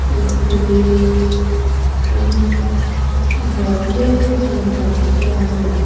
istiri in a nawt mek a mipa chuanin --